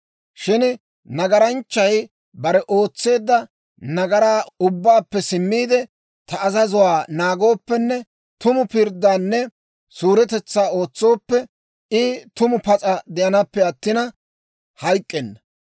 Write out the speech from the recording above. « ‹Shin nagaranchchay bare ootseedda nagaraa ubbaappe simmiide, ta azazuwaa naagooppenne tumu pirddaanne suuretetsaa ootsooppe, I tumu pas'a de'anaappe attina hayk'k'enna.